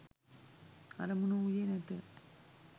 අරමුණ වූයේ නැත.